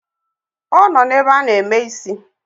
Ọ nọ n’ebe a na-eme isi